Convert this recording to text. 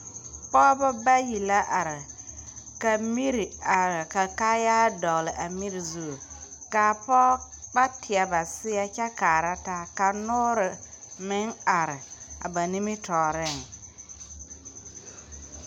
Pɔɔbɔ bayi la are ka miri a kaayaa dɔgle a miri zu kaa pɔɔbɔ teɛ ba seɛ kyɛ kaara taa ka noore meŋ are a ba nimitooreŋ.